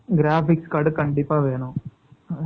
. Graphics card , கண்டிப்பா வேணும்.